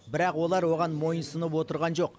бірақ олар оған мойынсұнып отырған жоқ